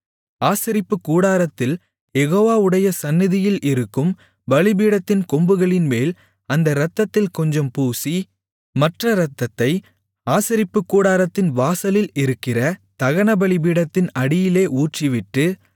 ஆசரிப்புக்கூடாரத்தில் யெகோவாவுடைய சந்நிதியில் இருக்கும் பலிபீடத்தின் கொம்புகளின்மேல் அந்த இரத்தத்தில் கொஞ்சம் பூசி மற்ற இரத்தத்தை ஆசரிப்புக்கூடாரத்தின் வாசலில் இருக்கிற தகனபலிபீடத்தின் அடியிலே ஊற்றிவிட்டு